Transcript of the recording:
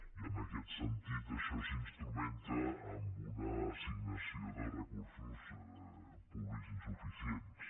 i en aquest sentit això s’instrumenta amb una assignació de recursos públics insuficients